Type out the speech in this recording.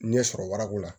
N ɲɛ sɔrɔ warako la